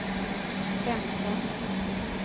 femton